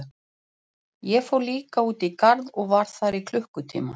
Ég fór líka út í garð og var þar í klukkutíma.